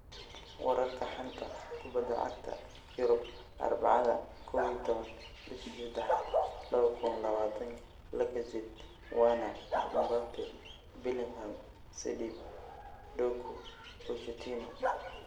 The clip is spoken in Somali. Wararka xanta kubada cagta Yurub Arbacada 11.03.2020: Lacazette, Werner, Mbappe, Bellingham, Sidibe, Doku, Pochettino